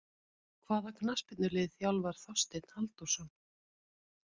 Hvaða knattspyrnulið þjálfar Þorsteinn Halldórsson?